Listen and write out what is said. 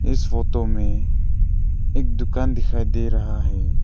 इस फोतो में एक दुकान दिखाई दे रहा है।